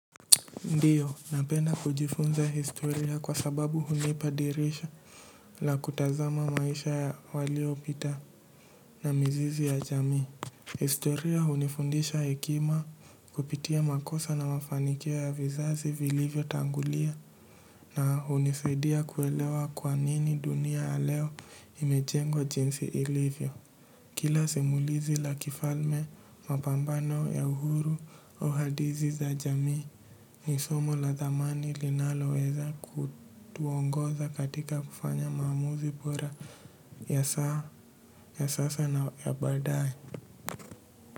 Ndio napenda kujifunza historia kwa sababu hunipa dirisha la kutazama maisha ya walio pita na mzizi ya jamii. Historia hunifundisha hekima kupitia makosa na mafanikio ya vizazi vilivyo tangulia na hunisaidia kuelewa kwa nini dunia ya leo imejengwa jinsi ilivyo. Kila simulizi la kifalme mapambano ya uhuru au hadithi za jamii ni somo la dhamani linaloweza kutuongoza katika kufanya maamuzi bora ya sasa na ya baadae.